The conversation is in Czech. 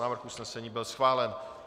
Návrh usnesení byl schválen.